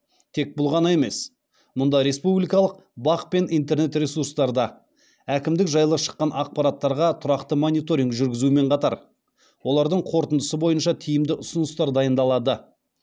тек бұл ғана емес мұнда республикалық бақ пен интернет ресурстарда әкімдік жайлы шыққан ақпараттарға тұрақты мониторинг жүргізумен қатар олардың қорытындысы бойынша тиімді ұсыныстар дайындалады